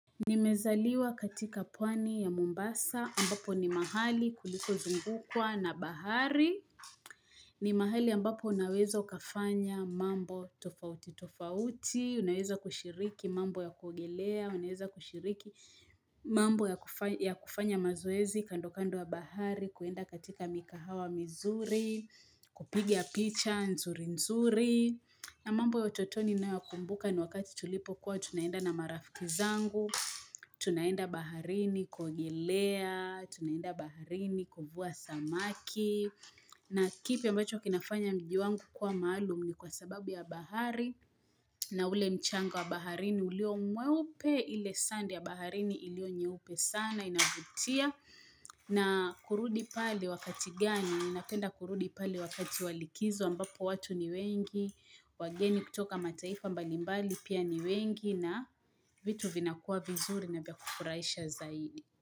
Nimezaliwa katika pwani ya Mombasa ambapo ni mahali kulikozungukwa na bahari. Ni mahali ambapo unaweza ukafanya mambo tofauti tofauti, unaweza kushiriki mambo ya kuogelea, unaweza kushiriki mambo ya kufanya mazoezi kando kando ya bahari, kuenda katika mikahawa mizuri, kupiga picha nzuri nzuri. Na mambo ya utotoni ninayo yakumbuka ni wakati tulipo kuwa tunaenda na marafiki zangu tunaenda baharini kuogelea, tunaenda baharini kuvua samaki na kipi ambacho kinafanya mji wangu kuwa maalum ni kwa sababu ya bahari na ule mchanga wa baharini ulio mweupe ile sand ya baharini ilio nyeupe sana inavutia na kurudi pale wakati gani, ninapenda kurudi pale wakati wa likizo ambapo watu ni wengi wageni kutoka mataifa mbalimbali pia ni wengi na vitu vinakuwa vizuri na vya kufurahisha zaidi.